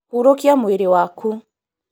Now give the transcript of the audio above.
Hurũkia mwĩrĩ waku